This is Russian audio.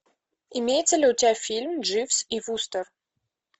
имеется ли у тебя фильм дживс и вустер